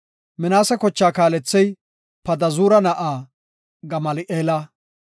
Minaase kochaa kaalethey Padazuura na7aa Gamali7eela.